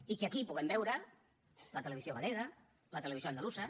i que aquí puguem veure la televisió galega la televisió andalusa